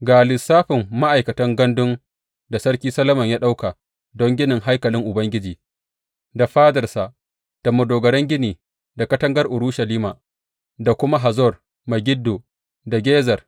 Ga lissafin ma’aikatan gandun da Sarki Solomon ya ɗauka don ginin haikalin Ubangiji, da fadarsa, da madogaran gini, da katangar Urushalima, da kuma Hazor Megiddo da Gezer.